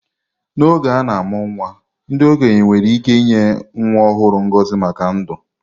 N’oge a na-amụ nwa, ndị okenye nwere ike inye nwa ọhụrụ ngọzi maka ndụ.